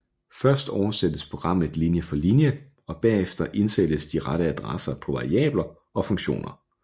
Først oversættes programmet linje for linje og bagefter indsættes de rette adresser på variabler og funktioner